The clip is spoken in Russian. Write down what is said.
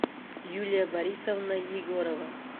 юлия борисовна егорова